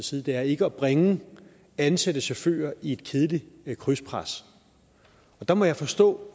side er ikke at bringe ansatte chauffører i et kedeligt krydspres og der må jeg forstå